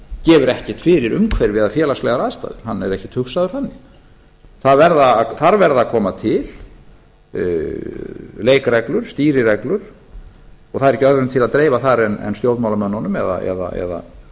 gefur ekkert fyrir umhverfi eða félagslegar aðstæður hann er ekkert hugsaður þannig þar verða að koma til leikreglur stýrireglur og það er ekki öðrum til að dreifa þar en stjórnmálamönnunum eða